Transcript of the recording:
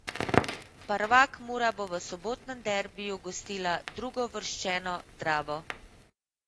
Prvak Mura bo v sobotnem derbiju gostila drugouvrščeno Dravo.